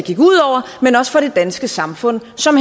danske samfund som